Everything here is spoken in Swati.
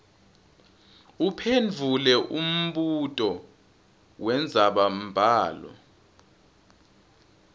uphendvule umbuto wendzabambhalo